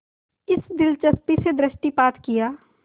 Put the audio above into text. इस दिलचस्पी से दृष्टिपात किया